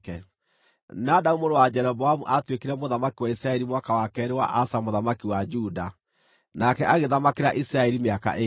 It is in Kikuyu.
Nadabu mũrũ wa Jeroboamu aatuĩkire mũthamaki wa Isiraeli mwaka wa keerĩ wa Asa mũthamaki wa Juda, nake agĩthamakĩra Isiraeli mĩaka ĩĩrĩ.